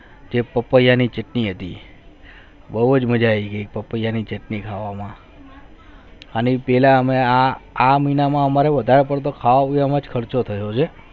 તે પપૈયા ને છતને હતી બહુ ચ મજા આવે પપૈયા ની ચટણી ખાવા માં અને પહેલા હમને આ આ હમને બધા કરીદો ખાવા માં ચ ખર્ચો થયો છે